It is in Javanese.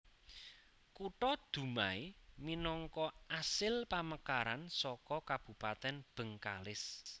Kutha Dumai minangka asil pamekaran saka Kabupatèn Bengkalis